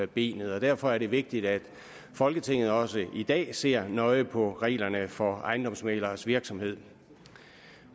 benet og derfor er det vigtigt at folketinget også i dag ser nøje på reglerne for ejendomsmægleres virksomhed